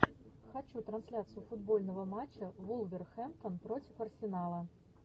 хочу трансляцию футбольного матча вулверхэмптон против арсенала